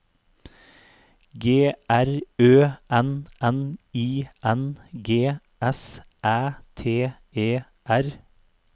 G R Ø N N I N G S Æ T E R